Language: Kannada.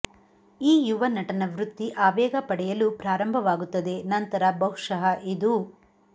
ಈ ಯುವ ನಟನ ವೃತ್ತಿ ಆವೇಗ ಪಡೆಯಲು ಪ್ರಾರಂಭವಾಗುತ್ತದೆ ನಂತರ ಬಹುಶಃ ಇದು